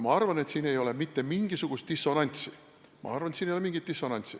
Ma arvan, et siin ei ole mitte mingisugust dissonantsi.